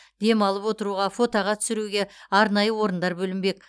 демалып отыруға фотоға түсіруге арнайы орындар бөлінбек